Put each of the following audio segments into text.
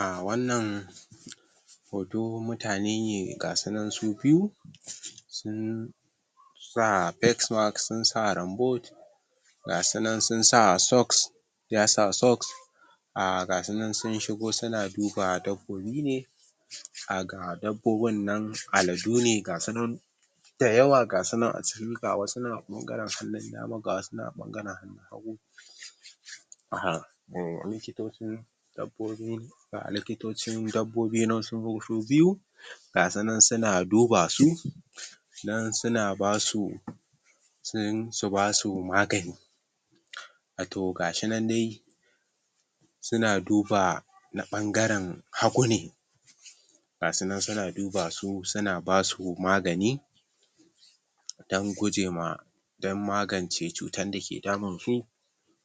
um wannan hoto mutane ne gasu nan su biyu sun sun sa face mask sun sa rain boot gasu nan sun sa socks ya sa socks um gasu nan sun shigo suna duba dabbobi ne um ga dabbobin nan aladu ne gasu nan da yawa gasu nan a ciki ga wasu a bangaren hannun dama ga wasu nan a bangaren hannun hagu um likitocin dabbobi likitocin dabbobi nan sun zo su biyu gasu nan suna duba su nan suna basu sun su basu magani um to gashi nan dai suna duba na ɓangaren hagu ne gasu nan suna duba su suna basu magani dan guje ma dan magance cutan dake damun su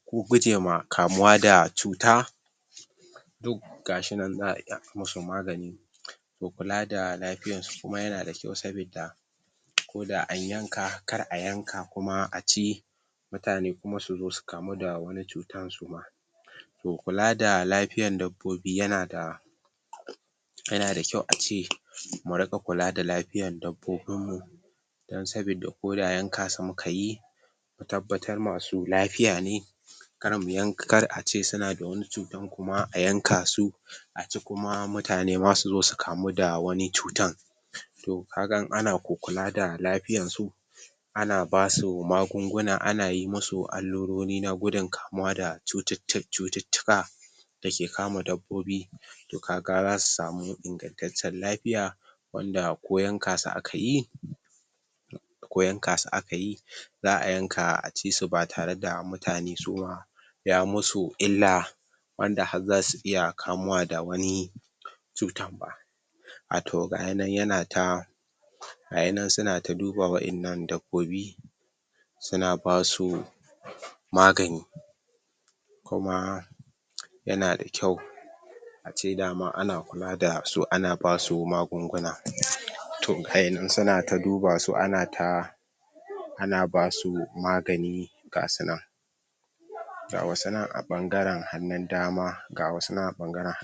ko guje ma kamuwa da cuta to gashi nan za'a yi musu magani da kula da lafiyan su kuma yana da kyau sabidda ko da an yanka kar a yanka kuma a ci mutane kuma su zo su kamu da wani cutan suma to kula da lafiyan dabbobi yanada yanada kyau a ce mu riƙa kula da lafiyan dabbobin mu dan sabidda koda yanka su muka yi tabbatar masu lafiya ne kara mu um kar a ce suna da wani cutan kuma a yanka su a ce mutane suma su zo su kamu da wani cutan to kaga in ana ko kula da lafiyan su ana basu magunguna ana yi musu allurori na gudun kamuwa da cututtuka dake kama dabbobi to kaga zasu samu ingantaccen lafiya wanda ko yanka su akayi ko yanka su aka yi za'a yanka a ci su ba tare da mutane su ma ya musu illa wanda har zasu iya kamuwa da wani cuta ba a to gayi nan yana ta gayi nan suna ta duba wa'innan dabbobi suna basu magani kuma yana da kyau a ce daman ana kula da su ana basu magunguna to gaii nan suna ta duba su ana ta ana basu magani gasu nan ga wasu nan a ɓangaren hannun dama gasu nan a ɓangaren